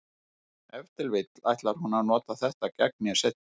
Ef til vill ætlar hún að nota þetta gegn mér seinna.